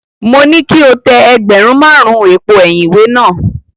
Mo ní kí o tẹ ẹgbẹ̀rún márùn-ún èpo ẹ̀yìn ìwé náà.